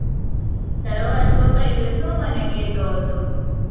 તારો અવાજ કપાઈ ગયો હતો, શું મને કહેતો હતો?